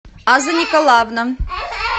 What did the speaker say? аза николаевна